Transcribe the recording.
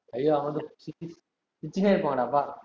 ஐயோ வந்து சிரிச்சுனே இருப்பாங்கடா அப்பா